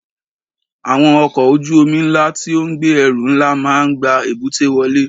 Àwọn ọkọ̀ ojú omi ńlá tí ó ń gbé ẹrù ńlá máa ń gba èbúté wọlé.